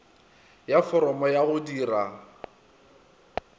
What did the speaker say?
ya foromo ya go dira